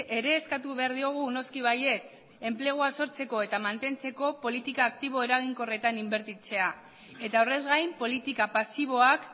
ere eskatu behar diogu noski baietz enplegua sortzeko eta mantentzeko politika aktibo eraginkorretan inbertitzea eta horrez gain politika pasiboak